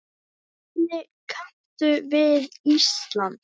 Hvernig kanntu við Ísland?